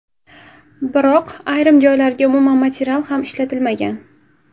Biroq ayrim joylariga umuman material ham ishlatilmagan.